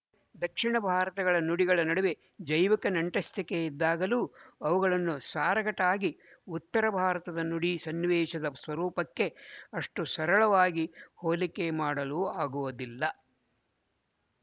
ದಕ್ಶಿಣ ಭಾರತದ ನುಡಿಗಳ ನಡುವೆ ಜೈವಿಕ ನಂಟಸ್ತಿಕೆ ಇದ್ದಾಗಲೂ ಅವುಗಳನ್ನು ಸಾರಗಟಾಗಿ ಉತ್ತರ ಭಾರತದ ನುಡಿ ಸನ್ನಿವೇಶದ ಸ್ವರೂಪಕ್ಕೆ ಅಷ್ಟು ಸರಳವಾಗಿ ಹೋಲಿಕೆ ಮಾಡಲು ಆಗುವುದಿಲ್ಲ